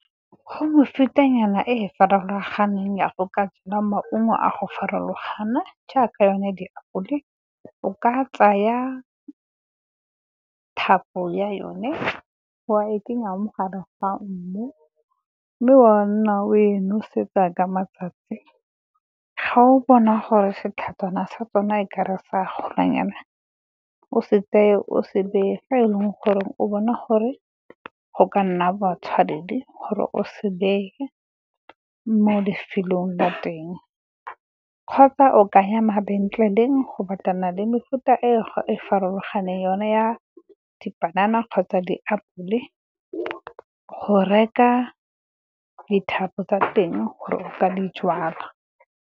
Go mefutanyana e e farologaneng ya go ka jala maungo a go farologana jaaka, yone di apole. O ka tsaya thapo ya yone wa e kenya mo gare ga mmu, mme wa nna o e nosetsa ka matsatsi. Ga o bona gore setlhajana sa tsona e ka re se a golanyana, o se tseye o se beye ga e leng gore o bona gore go ka nna matshwanedi, gore o se beye mo lefelong la teng kgotsa o ka ya mabenkeleng go batlana le mefuta e e farologaneng yone ya dipanana kgotsa diapole, go reka dithapo tsa teng gore o ka dijalwa.